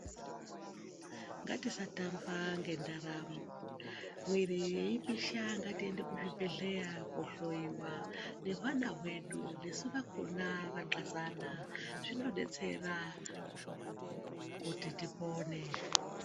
Ngatisatamba ngendaramo mwiri yeipisha ngatiende kuzvibhedhleya kohloiwa nezvana zvedu nesu vakona vaxazana zvinodetsera kuti tipone.